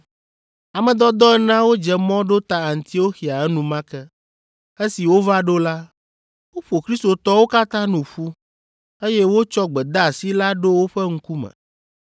Ame dɔdɔ eneawo dze mɔ ɖo ta Antioxia enumake. Esi wova ɖo la, woƒo kristotɔwo katã nu ƒu, eye wotsɔ gbedeasi la ɖo woƒe ŋkume.